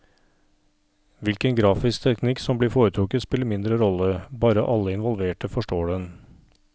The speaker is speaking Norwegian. Hvilken grafisk teknikk som blir foretrukket spiller mindre rolle, bare alle involverte forstår den.